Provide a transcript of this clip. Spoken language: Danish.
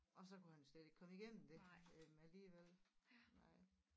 Og så kunne han jo slet ikke komme igennem det alligevel nej